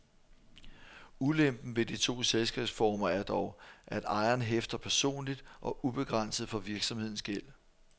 Ulempen ved de to selskabsformer er dog, at ejeren hæfter personligt og ubegrænset for virksomhedens gæld.